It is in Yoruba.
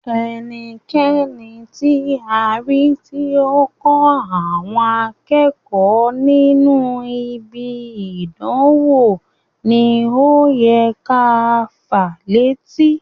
Ẹnikẹni ti a ri ti o n kọ àwọn akẹ́kọ̀ọ́ nínú ibi idanwo wọn ni o yẹ ká fàá létí.